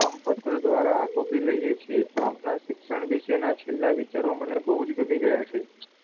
કામપત્ર દ્વારા આટોપી લઈએ છીયે, આપણાં શિક્ષણ વિષેનાં છેલ્લાં વિચારો મને બવ જ ગમી ગયાં છે.